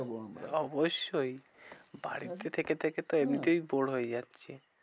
যাবো আমরা। অবশ্যই বাড়িতে থেকে থেকে তো এমনিতেই bore হয়ে যাচ্ছি।